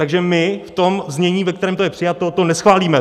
Takže my v tom znění, ve kterém to je přijato, to neschválíme.